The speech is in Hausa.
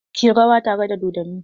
Ki yi rawa tare da dodonnin!